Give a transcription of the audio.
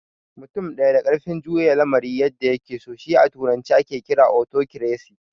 Mutum ɗaya da ƙarfin juya lamari yadda ya ke so shi a turance ake kira " Otokresi"